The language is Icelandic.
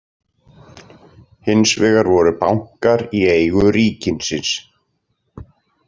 Hins vegar voru bankar í eigu ríkisins.